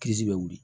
bɛ wuli